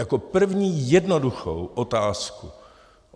Jako první jednoduchou otázku.